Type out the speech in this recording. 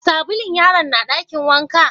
Sabulun yaron na dakin wanka?